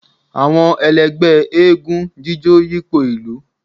awọn èlẹgbẹ́ égúǹ jijó yipo ilù